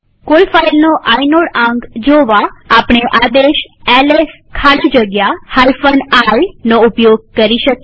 કોઈ ફાઈલનો આઇનોડ આંક જોવા આપણે આદેશ એલએસ સ્પેસ iનો ઉપયોગ કરી શકીએ